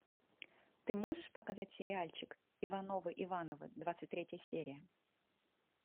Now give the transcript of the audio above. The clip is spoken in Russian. ты можешь показать сериальчик ивановы ивановы двадцать третья серия